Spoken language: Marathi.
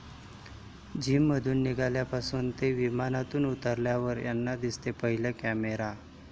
जिममधून निघाल्यापासून ते विमानातून उतरल्यावर यांना दिसतो पहिला कॅमेरा